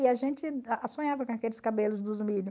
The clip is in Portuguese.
E a gente sonhava com aqueles cabelos dos milho.